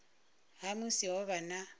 ha musi ho vha na